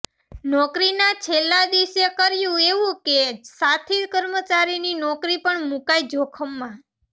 નોકરીના છેલ્લા દિવસે કર્યું એવું કે સાથી કર્મચારીની નોકરી પણ મુકાઈ જોખમમાં